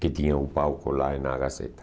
Que tinha o palco lá na Gazeta.